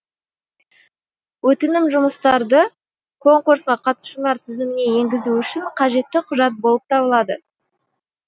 өтінім жұмыстарды конкурсқа қатысушылар тізіміне енгізу үшін қажетті құжат болып табылады